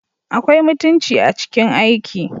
Akwai mutunci a cikin aiki